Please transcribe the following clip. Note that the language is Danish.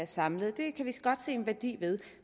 samlet det kan vi godt se en værdi ved